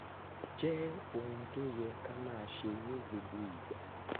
jẹ́ ohun tó yẹ ká máa ṣe ní gbogbo ìgbà